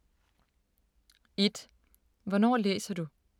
1) Hvornår læser du?